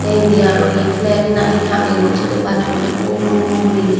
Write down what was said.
te indi araw hi flag na hi tangeyon sini bassunot ubo ubo gurinei.